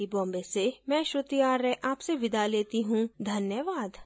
यह स्क्रिप्ट बिंदु पांडे द्वारा अनुवादित है आईआईटी बॉम्बे की ओर से मैं श्रुति आर्य अब आपसे विदा लेती हूँ धन्यवाद